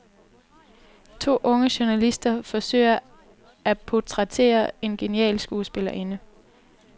To unge journalister forsøger at portrættere en genial skuespillerinde.